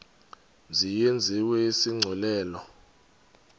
mzi yenziwe isigculelo